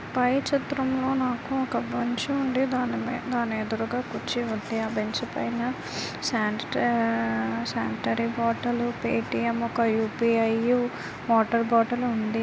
TV మొదలుపెట్టి ఎమ్మెలాడి quota నుండి పై చర్చ కమ్యూనికేషన్ ఉండాలి జానేమన్ పేట్రి ఓట మే టీక యూ పి.